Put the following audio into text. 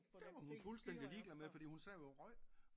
Det var hun fuldstændig ligeglad med fordi hun sad jo og røg